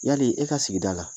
Yali e ka sigida la,